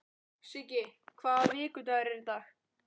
Matti, hvaða vikudagur er í dag?